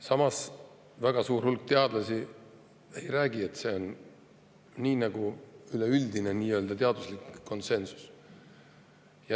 Samas, väga suur hulk teadlasi ei räägi, et see on nagu üleüldine nii-öelda teaduslik konsensus.